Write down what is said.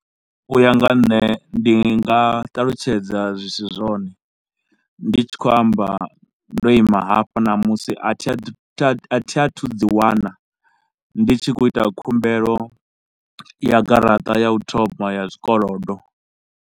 U ya nga ha nṋe ndi nga ṱalutshedza zwi si zwone, ndi tshi khou amba ndo ima hafha namusi a thi a thi a thi a thu ḓiwana ndi tshi khou ita khumbelo ya garaṱa ya u thoma ya zwikolodo.